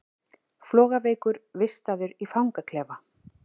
Flogaveikur vistaður í fangaklefa